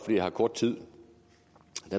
har kort tid